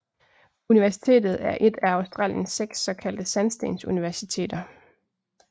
Universitetet er et af Australiens seks såkaldte sandstensuniversiteter